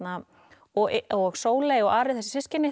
og og Sóley og Ari þessi systkini